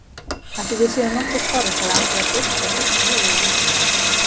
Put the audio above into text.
Ætlið þið séuð nokkuð skárri, sagði Andrea byrst og hristi höfuðið lítillega.